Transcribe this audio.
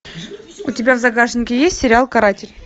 у тебя в загашнике есть сериал каратель